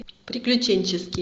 приключенческий